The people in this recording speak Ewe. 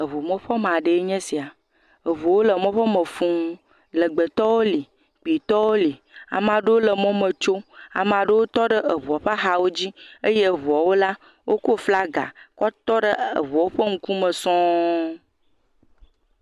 Eŋumɔƒɔme aɖee nye esia eŋuwo le mɔƒɔ me fũu, legbetɔwo le, kpuitɔwo le, ama aɖewo le mɔme tso, ame aɖewo tɔ ɖe eŋua ƒe axawo dzi eye eŋuawo la, wokɔ flaga kɔ tɔ ɖe eŋuawo ƒe ŋkume sɔŋ.